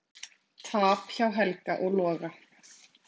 Tap hjá Helga og Loga